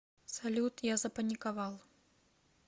салют я запаниковал